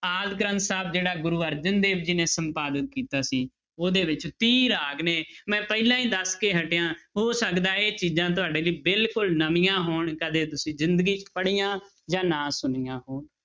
ਆਦਿ ਗ੍ਰੰਥ ਸਾਹਿਬ ਜਿਹੜਾ ਗੁਰੂ ਅਰਜਨ ਦੇਵ ਜੀ ਨੇ ਸੰਪਾਦਿਤ ਕੀਤਾ ਸੀ, ਉਹਦੇ ਵਿੱਚ ਤੀਹ ਰਾਗ ਨੇ ਮੈਂ ਪਹਿਲਾਂ ਹੀ ਦੱਸ ਕੇ ਹਟਿਆਂ, ਹੋ ਸਕਦਾ ਇਹ ਚੀਜ਼ਾਂ ਤੁਹਾਡੇ ਲਈ ਬਿਲਕੁਲ ਨਵੀਂਆਂ ਹੋਣ, ਕਦੇ ਤੁਸੀਂ ਜ਼ਿੰਦਗੀ 'ਚ ਪੜ੍ਹੀਆਂ ਜਾਂ ਨਾ ਸੁਣੀਆਂ ਹੋਣ।